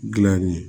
Gilanni ye